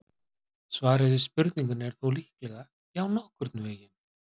Svarið við spurningunni er þó líklega: Já, nokkurn veginn.